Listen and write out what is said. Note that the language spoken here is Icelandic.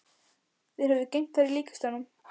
Þeir höfðu geymt þær í líkkistunum.